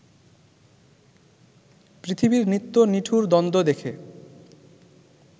পৃথিবীর নিত্য নিঠুর দ্বন্দ্ব দেখে